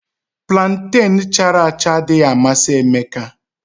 Planten chara acha adịghị amasị Emeka